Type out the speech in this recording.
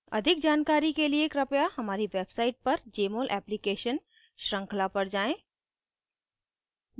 अधिक जानकारी के लिए कृपया हमारी website पर jmol application श्रृंखला पर जाएँ